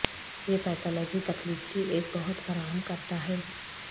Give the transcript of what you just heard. یہ پیتھالوجی تکلیف کی ایک بہت فراہم کرتا ہے